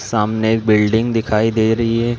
सामने एक बिल्डिंग दिखाई दे रही हैं ।